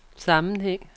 sammenhæng